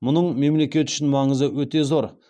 мұның мемлекет үшін маңызы өте зор